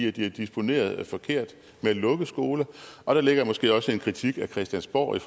at de har disponeret forkert ved at lukke skoler og der ligger måske også en kritik af christiansborg i